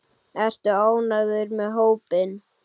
Ertu ánægður með hópinn?